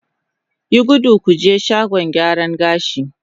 Yi gudu ku je shagon gyaran gashi!